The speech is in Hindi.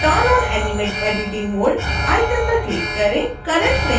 turn on animate editing mode icon पर क्लिक करें